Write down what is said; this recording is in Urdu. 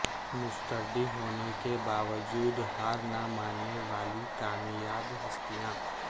مسترد ہونے کے باوجود ہار نہ ماننے والی کامیاب ہستیاں